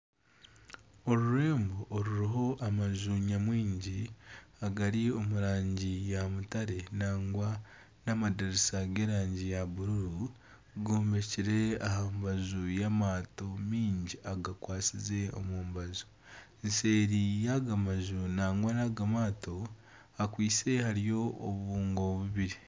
Orurembo oruriho amaju nyamwingi, agari omu rangi ya mutare nangwa n'amadirisa g'erangi ya bururu gombekire aha rubaju rw'amaato mingi agakwasize omu rubaju, seeri yaga maju nangwa naga maato hakwitse hariyo obubungo